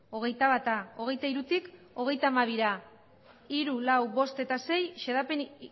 hogeita bat hogeita hirutik hogeita hamabira hirugarren laugarren bosgarren eta seigarren xedapen